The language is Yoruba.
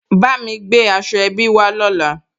Bámi gbé aṣọ ẹbí wá lọ́la